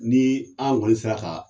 Ni an kɔni sera ka